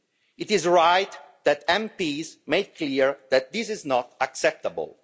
It is right that MPs made clear that this is not acceptable.